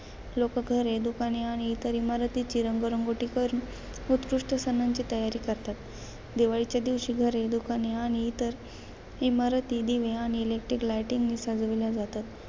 लोक घरे, दुकाने आणि इतर इमारतीची रंगरंगोटी करून, उत्कृष्ट सणांची तयारी करतात. दिवाळीच्या दिवशी घरे, दुकाने आणि इतर इमारती दिवे आणि electric lighting ने सजवल्या जातात.